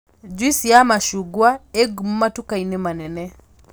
njuici ya macungwa ĩ ngumo matuka-inĩ manene